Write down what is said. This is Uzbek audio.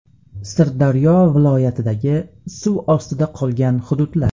Sirdaryo viloyatidagi suv ostida qolgan hududlar.